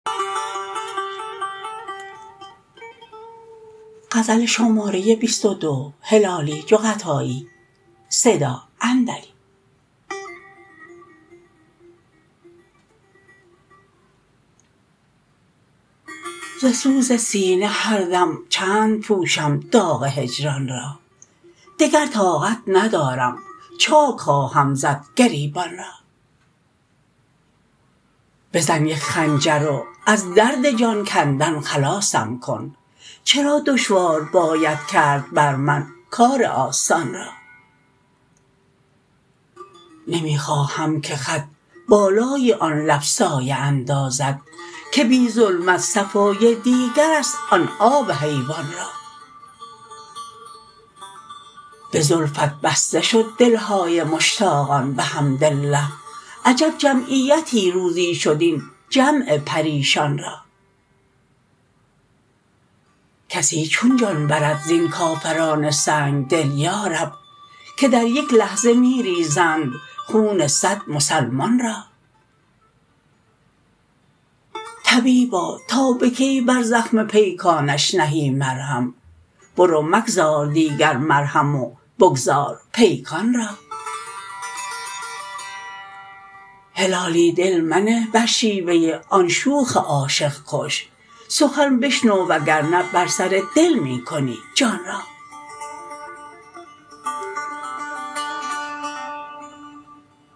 ز سوز سینه هر دم چند پوشم داغ هجران را دگر طاقت ندارم چاک خواهم زد گریبان را بزن یک خنجر و از درد جان کندن خلاصم کن چرا دشوار باید کرد بر من کار آسان را نمی خواهم که خط بالای آن لب سایه اندازد که بی ظلمت صفای دیگرست آن آب حیوان را بزلفت بسته شد دلهای مشتاقان بحمدالله عجب جمعیتی روزی شد این جمع پریشان را کسی چون جان برد زین کافران سنگدل یارب که در یک لحظه میریزند خون صد مسلمان را طبیبا تا بکی بر زخم پیکانش نهی مرهم برو مگذار دیگر مرهم و بگذار پیکان را هلالی دل منه بر شیوه آن شوخ عاشق کش سخن بشنو و گرنه بر سر دل می کنی جان را